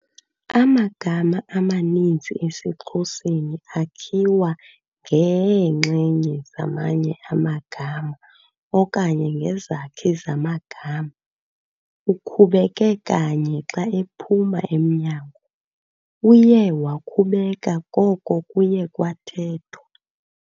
Amagama amaninzi esiXhoseni akhiwa ngeenxenye zamanye amagama okanye ngezakhi zamagama. ukhubeke kanye xa ephuma emnyango, uye wakhubeka koko kuye kwathethwa